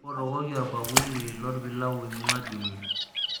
mpotokoki olbakuli lo olpilau laing'ua jumia